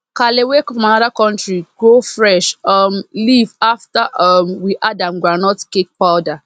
kale wey come from another country grow fresh um leaf after um we add am groundnut cake powder